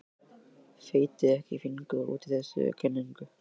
Fetti ekki fingur út í þessa kenningu.